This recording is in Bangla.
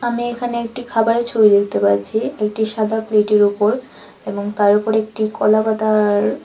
আমি এখানে একটি খাবারের ছবি দেখতে পারছি একটি সাদা প্লেটের ওপর এবং তার উপরে একটি কলাপাতার--